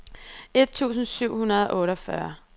et tusind syv hundrede og otteogfyrre